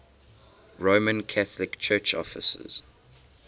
roman catholic church offices